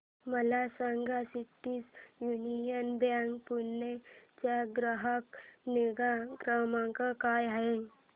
मला सांगा City Union Bank Pune चा ग्राहक निगा क्रमांक काय आहे